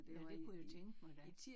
Ja det kunne jeg tænke mig da